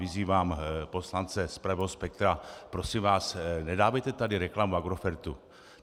Vyzývám poslance z pravého spektra: Prosím vás, nedávejte tady reklamu Agrofertu.